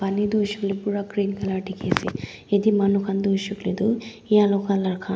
pani toh huishe kuile pura green colour dikhi ase ete manu khan toh huishe huile toh yellow colour khan.